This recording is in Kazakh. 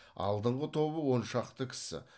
алдыңғы тобы он шақты кісі